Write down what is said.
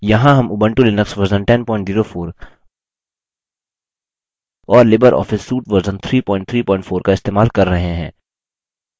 यहाँ हम Ubuntu Linux version 1004 और लिबर ऑफिस suite version 334 का इस्तेमाल कर रहे हैं